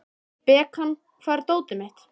Bekan, hvar er dótið mitt?